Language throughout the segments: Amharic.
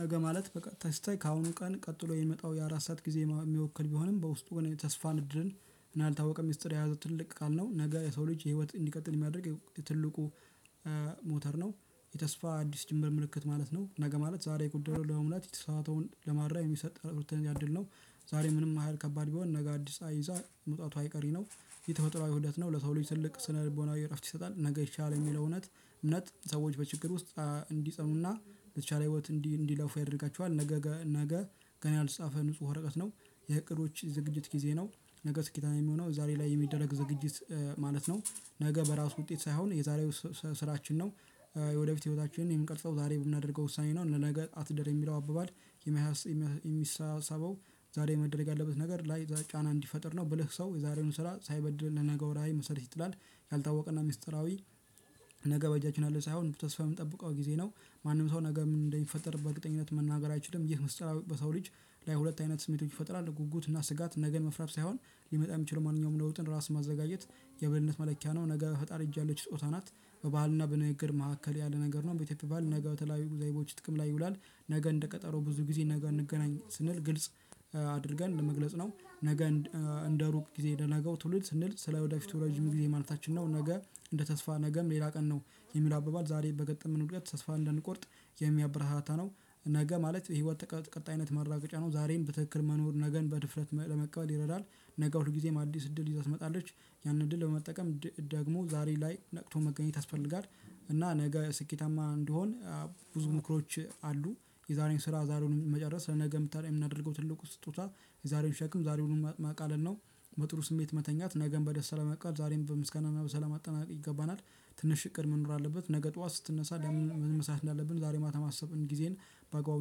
ነገ ማለት በቀጥታ ስታይ ከአሁኑ ቀን ቀጥሎ የሚመጣው የአራት ሰዓት ጊዜ የሚወክል ቢሆንም በውስጡ ገና የተስፋ እድልን እና ያልተወቀ ሚስጥር የያዘ ትልቅ ቃል ነው። ነገ የሰው ልጅ የህይወት እንዲቀጥል የሚያደርግ ትልቁ ሞተር ነው። የተስፋ አዲስ ጅምር ምልክት ማለት ነው። ነገ ማለት ዛሬ ጉዳዩን ለመምራት የተሳሰተውን ለማድረግ የሚሰጥ ሁለተኛ እድል ነው። ዛሬ ምንም ያህል ከባድ ቢሆን ነገ አዲስ ፀሀይ መውጣቱ አይቀሬ ነው። የተፈጥሮአዊ ኡደት ነው ለሰው ልጅ ትልቅ ስነ ልቦናዊ እረፍት ይሰጣል። ነገ ይቻላል የሚለው እውነት። እምነት ሰዎች በችግር ውስጥ እንዲጸኑና ለተቻለ ህይወት እንዲለፉ ያደርጋቸዋል። ነገ ነገ ገና ያልተጻፈ ንጹህ ወረቀት ነው። የእቅዶች ዝግጅት ጊዜ ነው። ነገ ስኬታማ የሚሆነው ዛሬ ላይ የሚደረግ ዝግጅት ማለት ነው። ነገ በራሱ ውጤት ሳይሆን የዛሬው ስራችን ነው። የወደፊት ህይወታችንን የምንቀርጸው ዛሬ ብናደርገው ውሳኔ ነው ለነገ አትደር የሚለው አባባል። የሚሳሰበው ዛሬ መደረግ ያለበት ነገር ላይ ጫና እንዲፈጥር ነው። ብልህ ሰው የዛሬውን ስራ ሳይበድልና ለነገው ራዕይ መስረት ይጥላል። ያልታወቀና ሚስጥራዊ ነገ በእጃችን ያለ ሳይሆን በተስፋ የምንጠብቀው ጊዜ ነው። ማንም ሰው ነገ ምን እንደሚፈጠር በእርግጠኝነት መናገር አይችልም። ይህ በሰው ልጅ ላይ ሁለት አይነት ስሜቶች ይፈጥራል። ጉጉት እና ስጋት ነገን መፍራት ሳይሆን ሊመጣ የሚችለው ማንኛውም ለውጥን ራስ ማዘጋጀት የብልህነት መለኪያ ነው። ነገ በፈጣሪ እጅ ያለች ስጦታ ናት። በባህልና በንግግር መካከል ያለ ነገር ነው። በኢትዮጵያ ባህል ነገ በተለያዩ ዘይቤዎች ጥቅም ላይ ይውላል። ነገ እንደ ቀጠሮ ብዙ ጊዜ ነገ እንገናኝ ስንል ግልጽ አድርገን ለመግለጽ ነው። ነገ እንደ ሩቅ ጊዜ ለነገው ትውልድ ስንል ስለ ወደፊቱ ረጅም ጊዜ ማለታችን ነው። ነገ እንደ ተስፋ ነገም ሌላ ቀን ነው። የሚለው አባባል ዛሬ በገጠመን ውድቀት ተስፋ እንዳንቆርጥ የሚያበረታታ ነው። ነገ ማለት የህይወት ቀጣይነት ማረጋገጫ ነው። ዛሬን በትክክል መኖር ነገን በድፍረት ለመቀበል ይረዳል። ነገ ሁል ጊዜም አዲስ እድል ይዛ ትመጣለች። ያንን እድል በመጠቀም ደግሞ ዛሬ ላይ ነቅቶ መገኘት ያስፈልጋል። እና ነገ ስኬታማ እንዲሆን ብዙ ምክሮች አሉ። የዛሬን ስራ ዛሬውኑ መጨረስ ለነገ የምናደርገው ስጦታ የዛሬዉን ሸክም ዛሬውኑ ማቃለል ነው። በጥሩ ስሜት መተኛት ነገን በደስታ ለመቀበል ዛሬም በምስጋና በሰላም ማጠናቀቅ ይገባናል። ትንሽ እቅድ መኖር አለበት ነገ ጠዋት ስትነሳ ለምን? ምን መስራት እንዳለብን ዛሬ ማታ ማሰብን ጊዜን በአግባቡ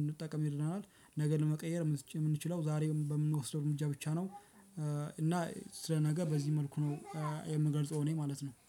እንጠቀም ይረዳናል። ነገር ለመቀየር የምንችለው ዛሬ በምንወስደው እርምጃ ብቻ ነው። እና ስለነገ በዚህ መልኩ ነው የምገልጸው ማለት ነው። እኔ